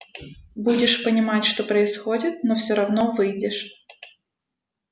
будешь понимать что происходит но всё равно выйдешь